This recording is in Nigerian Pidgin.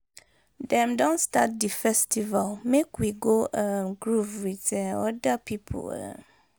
Dem don start di festival, make we go um groove with um oda pipo um